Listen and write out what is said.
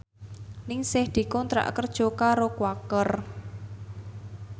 Ningsih dikontrak kerja karo Quaker